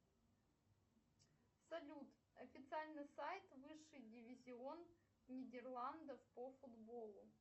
салют официальный сайт высший дивизион нидерландов по футболу